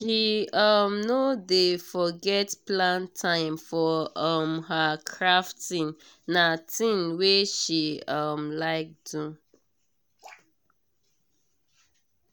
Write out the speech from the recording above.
she um no dey forget plan time for um her crafting na thing wey she um like do.